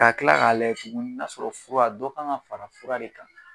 A ka tila k'a layɛ tuguni n'a sɔrɔ fura dɔ kan ŋa fara fura de kan